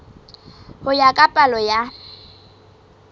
ho ya ka palo ya